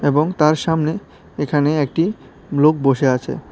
এবং তার সামনে এখানে একটি লোক বসে আছে।